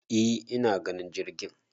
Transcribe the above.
e ina ganin jirgin